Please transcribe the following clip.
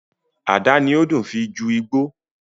Ada ni ó dùn fii ju Igbó